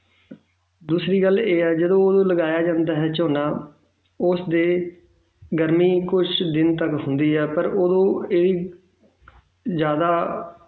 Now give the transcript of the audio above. ਦੂਸਰੀ ਗੱਲ ਇਹ ਆ ਜਦੋਂ ਉਹਨੂੰ ਲਗਾਇਆ ਜਾਂਦਾ ਹੈ ਝੋਨਾ ਉਸ ਦੇ ਗਰਮੀ ਕੁਛ ਦਿਨ ਤੱਕ ਹੁੰਦੀ ਹੈ ਪਰ ਉਦੋਂ ਇਹ ਜ਼ਿਆਦਾ